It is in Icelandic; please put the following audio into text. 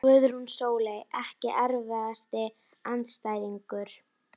Guðrún Sóley Ekki erfiðasti andstæðingur?